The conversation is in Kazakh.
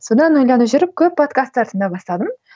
содан ойланып жүріп көп подкастар тыңдай бастадым